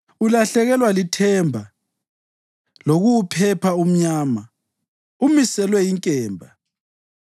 Ulahlekelwa lithemba lokuwuphepha umnyama; umiselwe inkemba.